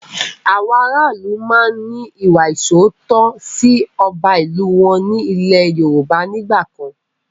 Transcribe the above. Àwọn ará ìlú máa ń ní ìwà ìsootọ́ sì ọba ìlú wọn ní ilẹ́ Yorùbá nígbàkan